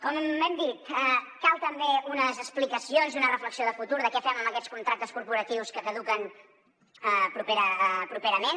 com hem dit calen també unes explicacions i una reflexió de futur de què fem amb aquests contractes corporatius que caduquen properament